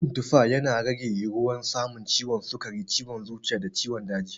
Cin tufa, yana rage yiwuwar samun ciwon sukari, ciwon zuciya da ciwon daji.